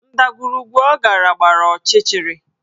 Ndagwurugwu ọ gara gbara ọchịchịrị